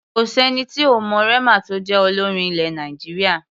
Kò sẹ́ni tí ò mọ Rema tó jẹ́ olórin ilẹ̀ Nàìjíríà.